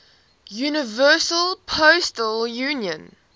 universal postal union